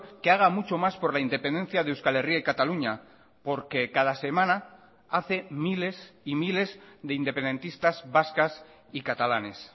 que haga mucho más por la independencia de euskal herria y cataluña porque cada semana hace miles y miles de independentistas vascas y catalanes